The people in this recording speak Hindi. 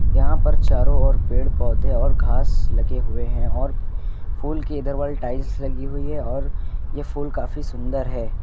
यहां पर चारों ओर पेड़ पौधे और घास लगे हुए हैं और फूलों के इधर वाले टाइल्स लगी हुई है और ये फूल काफी सुंदर है।